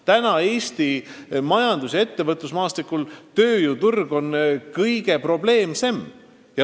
Praegu on Eesti ettevõtlus- ja üldse majandusmaastikul tööjõuturg kõige probleemsem tegur.